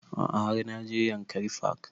A'a har na je yankari park